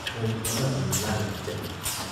ꯊꯣꯡ ꯑꯃ ꯑꯅꯤ ꯂꯥꯜꯂꯒ ꯆꯠꯂꯤ ꯫